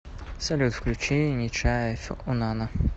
салют включи нечаев унана